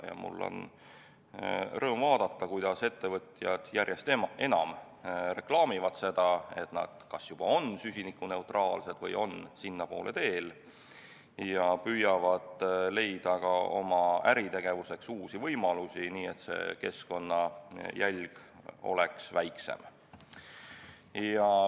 Mul on rõõm vaadata, kuidas ettevõtjad järjest enam reklaamivad seda, et nad kas juba on süsinikuneutraalsed või on sinnapoole teel, ja püüavad leida oma äritegevuseks uusi võimalusi, nii et keskkonnajälg oleks väiksem.